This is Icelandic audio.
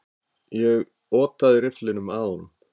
Ég otaði rifflinum að honum.